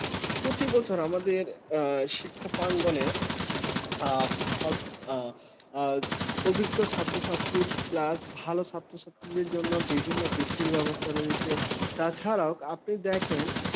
প্রতি বছর আমাদের শিক্ষা প্রাঙ্গণে অভিজ্ঞ ছাত্র-ছাত্রীদের plus ভালো ছাত্র ছাত্রীদের জন্য বিভিন্ন ভিত্তিরব্যবস্থা রয়েছে তাছাড়া আপনি দেখেন